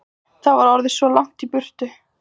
Allt var orðið svo langt í burtu.